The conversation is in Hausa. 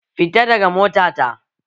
Fita daga mota ta!